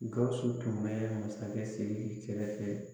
Gawusu tun bɛ masakɛ Siriki kɛrɛfɛ